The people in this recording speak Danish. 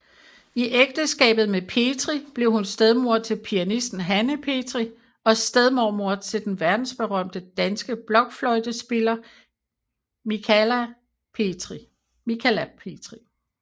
I ægteskabet med Petri blev hun stedmor til pianisten Hanne Petri og stedmormor til den verdensberømte danske blokfløjtespiller Michala Petri